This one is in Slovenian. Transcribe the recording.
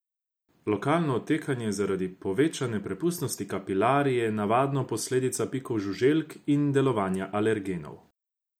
Lokalno otekanje zaradi povečane prepustnosti kapilar je navadno posledica pikov žuželk in delovanja alergenov.